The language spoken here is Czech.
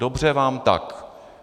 Dobře vám tak.